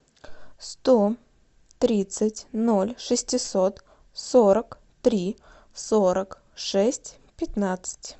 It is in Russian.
сто тридцать ноль шестьсот сорок три сорок шесть пятнадцать